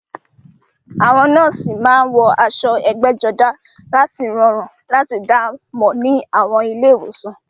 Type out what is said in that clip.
Àwọn nọ́ọ̀sì máa ń wọ aṣọ ẹgbẹ́jọdá láti rọrùn láti dá mọ̀ ní àwọn ilé ìwòsàn